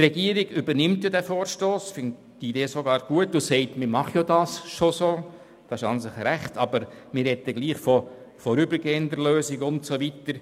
Die Regierung übernimmt den Vorstoss und bekundet, dies werde bereits so gehandhabt.